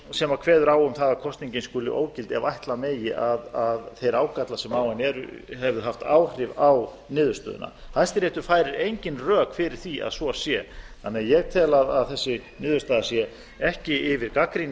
sem kveður á um það að kosningin skuli ógild ef ætla megi að þeir ágallar sem á henni eru hefðu haft áhrif á niðurstöðuna hæstiréttur færir engin rök fyrir því að svo sé þannig að ég tel að þessi niðurstaða sé ekki yfir gagnrýni